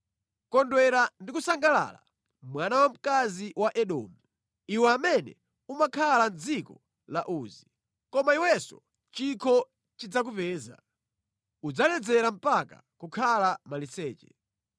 Kondwera ndi kusangalala, mwana wamkazi wa Edomu. Iwe amene umakhala mʼdziko la Uzi. Koma iwenso chikho chidzakupeza; udzaledzera mpaka kukhala maliseche.